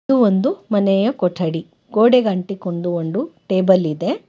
ಇದು ಒಂದು ಮನೆಯ ಕೊಠಡಿ ಗೋಡೆಗ್ ಆಂಟಿಕೊಂಡು ಒಂದು ಟೇಬಲ್ ಇದೆ.